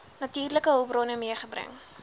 natuurlike hulpbronne meegebring